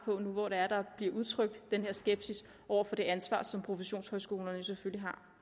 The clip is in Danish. på det nu hvor der bliver udtrykt den her skepsis over for det ansvar som professionshøjskolerne selvfølgelig har